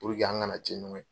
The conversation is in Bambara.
An kana ciɲɛn ɲɔgɔn ye.